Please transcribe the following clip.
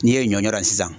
N'i ye ɲɔ ye sisan